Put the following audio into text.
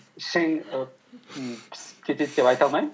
ішің і пысып кетеді деп айта алмаймын